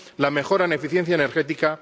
la mejora en eficiencia energética